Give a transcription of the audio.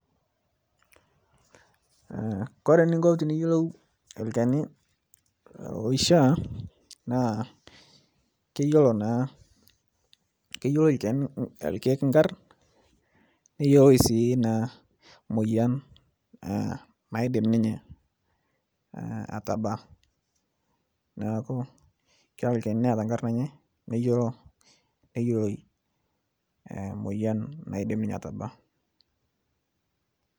Ore eninko teniyolou olchani oishaa naa keyioloi irkeek inkarn neyioloi sii emuoyian naadim ninye atabaa. Neaku meeta olchani lemeyioloi enkarna enye we muoyian nabak.